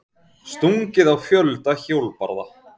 Stungið á fjölda hjólbarða